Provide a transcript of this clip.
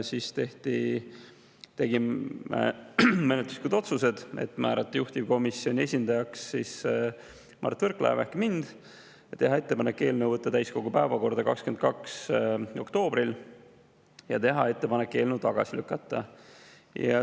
Siis tehti menetluslikud otsused: määrata juhtivkomisjoni esindajaks Mart Võrklaev ehk mina, teha ettepanek võtta eelnõu täiskogu päevakorda 22. oktoobril ja teha ettepanek eelnõu tagasi lükata.